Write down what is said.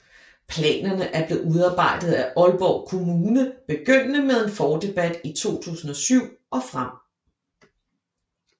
Planerne er blevet udarbejdet af Aalborg Kommune begyndende med en fordebat i 2007 og frem